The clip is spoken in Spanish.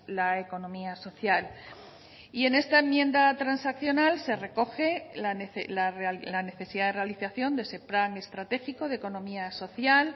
la economía social y en esta enmienda transaccional se recoge la necesidad de realización de ese plan estratégico de economía social